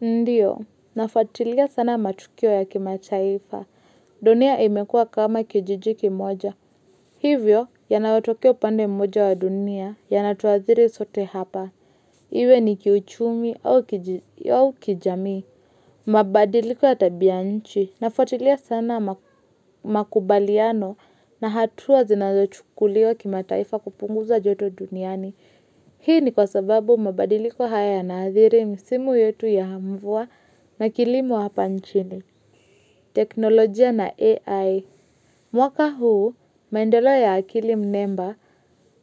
Ndiyo, nafuatilia sana matukio ya kimataifa, dunia imekuwa kama kijiji kimoja. Hivyo, yanayotukio pande mmoja wa dunia, yanatuadhiri sote hapa. Iwe ni kiuchumi au kijamii. Mabadiliko ya tabianchi, nafuatilia sana makubaliano na hatua zinazochukuliwa kimataifa kupunguza joto duniani. Hii ni kwa sababu mabadiliko haya yanaadhiri msimu yetu ya mvua na kilimo hapa nchini, teknolojia na AI. Mwaka huu, maendeleo ya akili mnemba